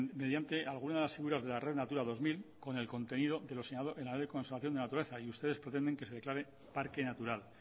mediante algunas de las figuras de la red natura dos mil con el contenido de lo señalado en la ley de conservación de la naturaleza y ustedes pretenden que se declare parque natural